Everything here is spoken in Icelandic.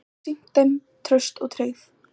Hann hefur sýnt þeim traust og tryggð.